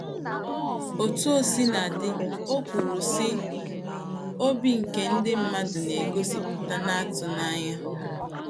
Otú o sina dị, o kwuru, sị: “ Obi ike ndị mmadụ na - egosipụta na-atụ n'anya. ”